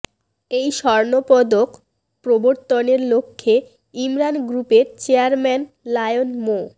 এই স্বর্ণপদক প্রবর্তনের লক্ষ্যে ইমরান গ্রুপের চেয়ারম্যান লায়ন মো